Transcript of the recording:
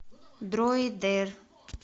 дроидер